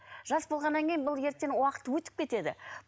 жас болғаннан кейін бұл ертең уақыт өтіп кетеді